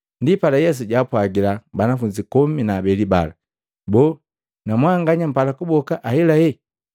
Ndipala Yesu jaapwagila banafunzi komi na abeli bala, “Boo! Na mwanganya mpala kuboka ahelahela?”